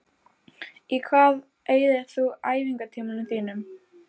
Í hvað eyðir þú æfingartímanum þínum?